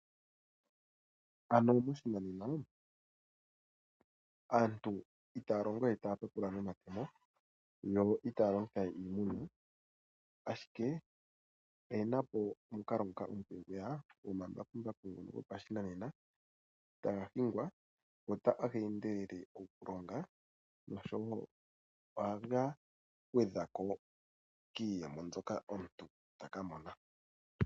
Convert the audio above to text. Ano moshinanena, aantu itaya longo we taya tatula nomatemo, yo itaya longitha we iimuna. Ashike oyena po omukalo nguka omupe gweya gomambakumbaku ngono gopashinanena taga hingwa, go taga endelele okulonga noshowo ohaga gwedhako kiiyemo mbyoka omuntu ta ka mona.